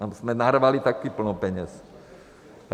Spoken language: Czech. Tam jsme narvali taky plno peněz.